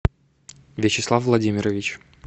вячеслав владимирович